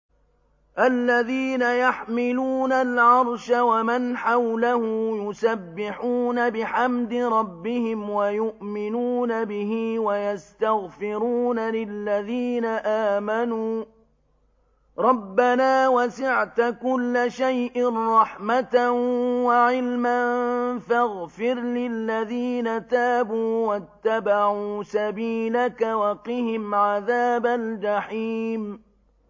الَّذِينَ يَحْمِلُونَ الْعَرْشَ وَمَنْ حَوْلَهُ يُسَبِّحُونَ بِحَمْدِ رَبِّهِمْ وَيُؤْمِنُونَ بِهِ وَيَسْتَغْفِرُونَ لِلَّذِينَ آمَنُوا رَبَّنَا وَسِعْتَ كُلَّ شَيْءٍ رَّحْمَةً وَعِلْمًا فَاغْفِرْ لِلَّذِينَ تَابُوا وَاتَّبَعُوا سَبِيلَكَ وَقِهِمْ عَذَابَ الْجَحِيمِ